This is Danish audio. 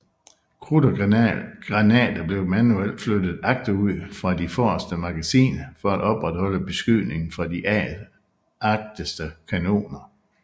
Krudt og granater blev manuelt flyttet agterud fra de forreste magasiner for at opretholde beskydningen fra de agterste kanoner